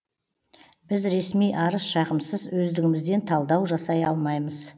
біз ресми арыз шағымсыз өздігімізден талдау жасай алмаймыз